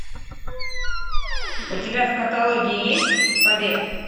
у тебя в каталоге есть побег